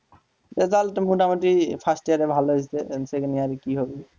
result তো মোটামুটি first year এ ভালো হয়েছে and second year কি হবে?